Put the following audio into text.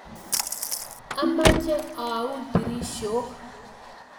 Amache aun dirishok